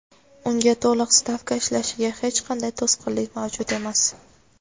unga to‘liq stavka ishlashiga hech qanday to‘sqinlik mavjud emas.